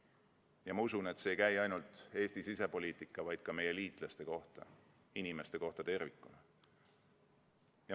Ja ma usun, et see ei käi ainult Eesti sisepoliitika, vaid ka meie liitlaste kohta, inimeste kohta tervikuna.